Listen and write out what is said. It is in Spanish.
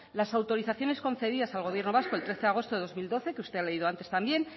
las autorizaciones concedidas al gobierno vasco el trece de agosto de dos mil doce que usted ha leído antes también